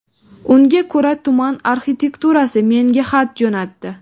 Unga ko‘ra, tuman arxitekturasi menga xat jo‘natdi.